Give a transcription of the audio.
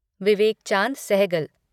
Vivek Chand Sehgal